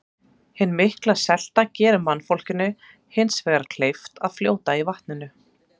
Hin mikla selta gerir mannfólkinu hins vegar kleyft að fljóta í vatninu.